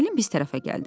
Müəllim biz tərəfə gəldi.